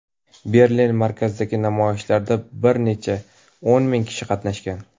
Berlin markazidagi namoyishlarda bir necha o‘n ming kishi qatnashgan.